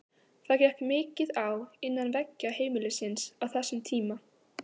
Það gekk mikið á innan veggja heimilisins á þessum tíma.